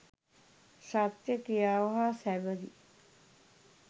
සත්‍ය ක්‍රියාව හා සැබඳි